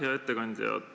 Hea ettekandja!